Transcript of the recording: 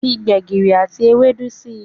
Fí gbegiri àti Ewédú sí.